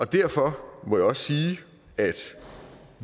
derfor må jeg også sige at